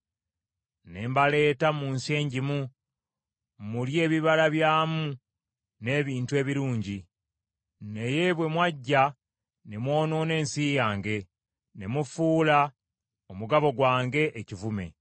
Ne mbaleeta mu nsi engimu, mulye ebibala byamu n’ebintu ebirungi. Naye bwe mwajja ne mwonoona ensi yange, ne mufuula omugabo gwange ekivume.